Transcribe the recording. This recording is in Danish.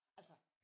Altså